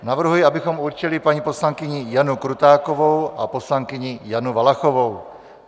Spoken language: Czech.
Navrhuji, abychom určili paní poslankyni Janu Krutákovou a poslankyni Janu Valachovou.